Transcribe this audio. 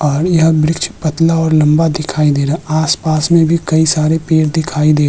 और यहां वृक्ष पतला और लम्बा दिखाई दे रहा है। आस पास में भी कई सारे पेड़ दिखाई दे --